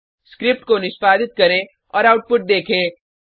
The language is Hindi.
स्क्रिप्ट को निष्पादित करें और आउटपुट देखें